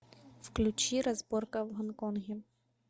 включи разборка в гонконге